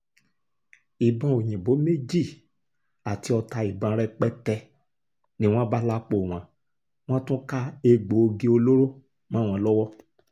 ìbọn òyìnbó méjì àti ọta ìbọn rẹpẹtẹ ni wọ́n bá lápò wọn wọ́n tún ká egbòogi olóró mọ́ wọn lọ́wọ́